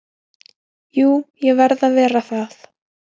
Jú ég verð að vera það